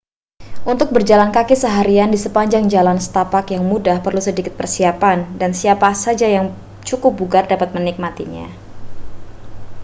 untuk berjalan kaki seharian di sepanjang jalan setapak yang mudah perlu sedikit persiapan dan siapa saja yang cukup bugar dapat menikmatinya